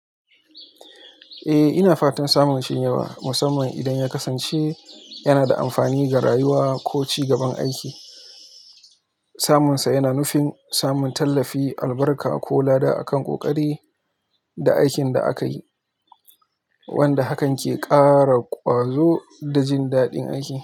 Eh, ina fatan samun shinyewa, musamman idan ya kasance yana da amfani ga rayuwa ko ci gaban aiki. Samunsa yana nufin samun tallafi, albarka ko lada akan ƙoƙari da aikin da aka yi, wanda hakan ke ƙara ƙwazo da jin daɗin aiki.